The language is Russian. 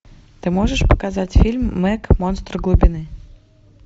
ты можешь показать фильм мег монстр глубины